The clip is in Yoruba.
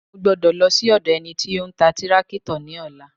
Mo gbọ́dọ̀ lọ sí ọ̀dọ̀ ẹni tí ó ń ta tírákítọ̀ ní ọ̀la